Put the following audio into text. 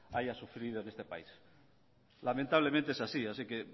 haya sufrido en este país lamentablemente es así así que